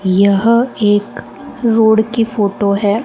यह एक रोड की फोटो है।